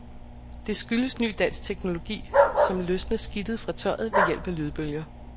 Det skyldes ny dansk teknologi, som løsner skidtet fra tøjet ved hjælp af lydbølger.